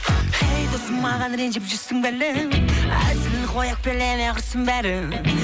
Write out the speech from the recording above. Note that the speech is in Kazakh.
ей досым маған ренжіп жүрсің бе әлі әзіл ғой өкпелеме құрсын бәрі